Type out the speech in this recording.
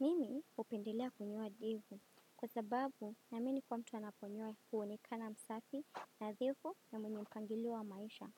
Mimi hupendelea kunyoa ndevu, kwa sababu na amini kuwa mtu anaponyoa huonekana msafi nadhifu na mwenye mpangilio maisha.